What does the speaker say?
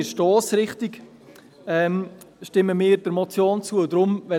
Wie gesagt stimmen wir der Motion nur in der Stossrichtung zu.